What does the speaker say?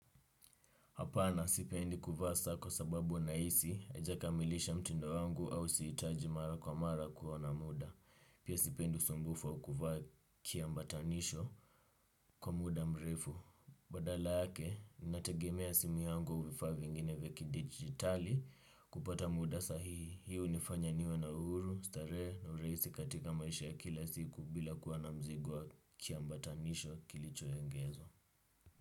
Hapana sipendi kuvaa saa kwa sababu nahisi haijakamilisha mtindo wangu au sihitaji mara kwa mara kuona muda. Pia sipendi usumbufu au kuvaa kiambatanisho kwa muda mrefu. Badala yake, nategemea simu yangu au vifaa vingine vya kidigitali kupata muda sahihi. Hii hunifanya niwe na uhuru, starehe na uraisi katika maisha ya kila siku bila kuwa na mzigo wa kiambatanisho kilichoengezwa.